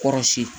Kɔrɔsi